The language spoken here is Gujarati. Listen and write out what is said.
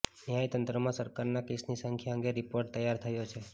ન્યાય તંત્રમાં સરકારના કેસની સંખ્યા અંગે રીપોર્ટ તૈયાર થયો છે